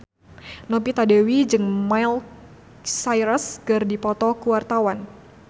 Novita Dewi jeung Miley Cyrus keur dipoto ku wartawan